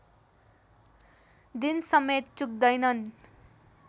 दिनसमेत चुक्दैनन्